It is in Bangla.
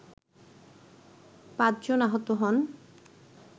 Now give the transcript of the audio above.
পাঁচজন আহত হন